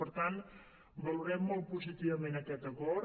per tant valorem molt positivament aquest acord